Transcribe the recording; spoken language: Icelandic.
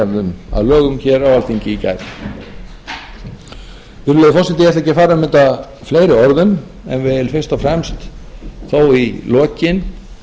gerðum að lögum á alþingi í gær virðulegi forseti ég ætla ekki að fara um þetta fleiri orðum en vil fyrst og fremst þó í lokin